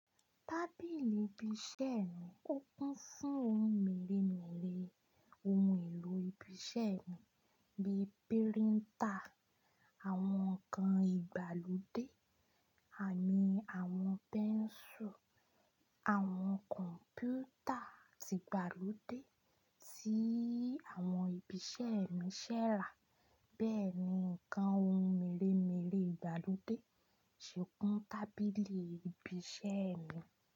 Tábìlì ibi iṣẹ́ mi ó kún fún ohun mèremère ohun èlò ibi iṣẹ́ mi bíi píríntà, àwọn nǹkan ìgbàlódé àní àwọn pẹ́ńsù, àwọn kọ̀m̀pútà ti ìgbàlódé tí àwọn ibi iṣẹ́ mi ṣẹ̀ rà bẹ́ẹ̀ ni nǹkan ohun mèremère ìgbàlódé ṣe kún tábìlì ibi iṣẹ́ mi.